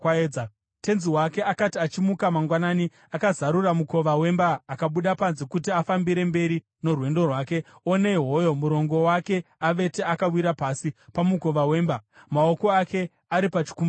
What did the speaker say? Tenzi wake akati achimuka mangwanani akazarura mukova wemba akabuda panze kuti afambire mberi norwendo rwake, onei hoyo murongo wake avete akawira pasi pamukova wemba, maoko ake ari pachikumbaridzo.